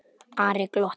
Ari glotti.